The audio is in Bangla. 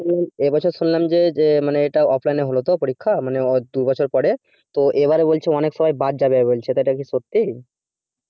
এ বছর শুনলাম যে মানে এটা off line এ হলো তো পরীক্ষা মানে দুবছর পরে তো এবার বলছে অনেক সবাই বাদ যাবে বলছে এটা কি সত্তি?